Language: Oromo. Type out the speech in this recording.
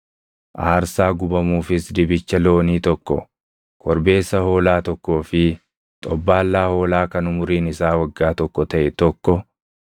aarsaa gubamuufis dibicha loonii tokko, korbeessa hoolaa tokkoo fi xobbaallaa hoolaa kan umuriin isaa waggaa tokko taʼe tokko,